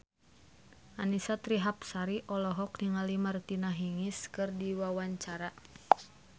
Annisa Trihapsari olohok ningali Martina Hingis keur diwawancara